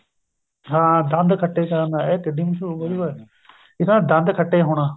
ਹਾਂ ਦੰਦ ਖੱਟੇ ਕਰਨਾ ਇਹ ਕਿੱਢੀ ਮਸਹੂਰ ਏ ਇੱਕ ਆ ਦੰਦ ਖੱਟੇ ਹੋਣਾ